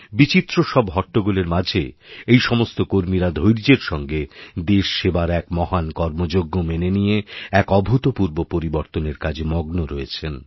বিচিত্র সবহট্টগোলের মাঝে এই সমস্ত কর্মীরা ধৈর্যের সঙ্গে দেশসেবার এক মহান কর্মযজ্ঞ মেনেনিয়ে এক অভূতপূর্ব পরিবর্তনের কাজে মগ্ন রয়েছেন